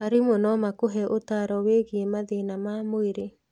Arimũ no makũhe ũtaaro wĩgiĩ mathĩna ma mwĩrĩ.